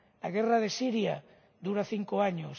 La guerra de Siria dura cinco años.